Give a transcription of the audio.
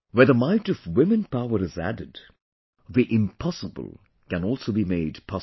Where the might of women power is added, the impossible can also be made possible